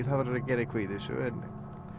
það verður að gera eitthvað í þessu en